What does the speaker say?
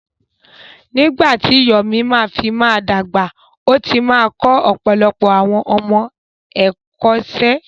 Nígbà tí Yomi bá fi máa dàgbà, ó ti máa kọ́ ọ̀pọ̀lọpọ̀ àwọn ọmọ ẹ̀kọ́ṣẹ́.